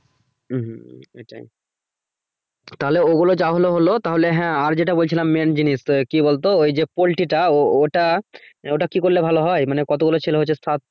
হম এটাই তাহলে ওগুলো যা হলো হলো তাহলে হ্যা আর যেটা বলছিলাম main জিনিস তো কি বলতো ওই যে poultry টা ওটা আহ ওটা কি করলে ভালো হয় মানে কতগুলো ছেলে সাত।